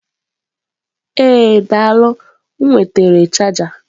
Ee daalụ m nwetara chaja.